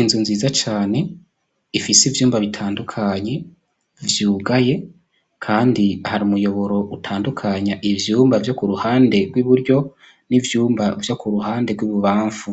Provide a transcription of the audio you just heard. Inzu nziza cane ifise ivyumba bitandukanye vyugaye, kandi hari umuyoboro utandukanya ivyumba vyo ku ruhande rw'iburyo n'ivyumba vyo ku ruhande rw'ibubamfu